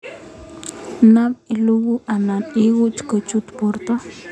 Nap ilugui anan inguu kochut porto.